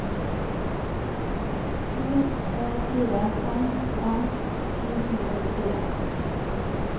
sju fire fem fem åttifem sju hundre og åttifire